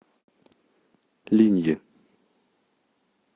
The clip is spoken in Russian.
линьи